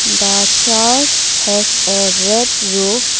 the church has a red roof.